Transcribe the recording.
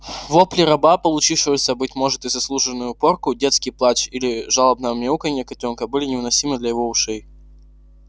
вопли раба получившего быть может и заслуженную порку детский плач или жалобное мяуканье котёнка были невыносимы для его ушей